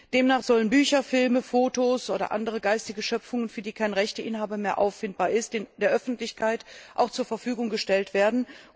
Demnach sollen Bücher, Filme, Fotos oder andere geistige Schöpfungen, für die kein Rechteinhaber mehr auffindbar ist, der Öffentlichkeit auch zur Verfügung gestellt werden.